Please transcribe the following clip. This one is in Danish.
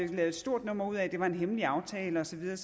et stort nummer ud af at det var en hemmelig aftale og så videre